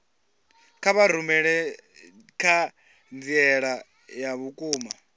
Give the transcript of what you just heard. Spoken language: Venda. kha vha rumele ṱhanziela ya vhukuma